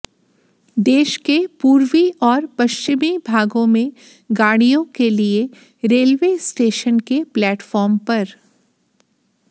देश के पूर्वी और पश्चिमी भागों में गाड़ियों के लिए रेलवे स्टेशन के प्लेटफार्म पर